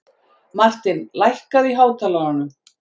Martin, lækkaðu í hátalaranum.